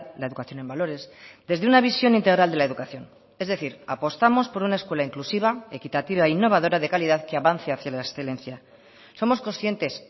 la educación en valores desde una visión integral de la educación es decir apostamos por una escuela inclusiva equitativa e innovadora de calidad que avance hacia la excelencia somos conscientes